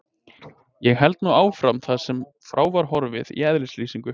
Ég held nú áfram þar sem frá var horfið í eðlislýsingu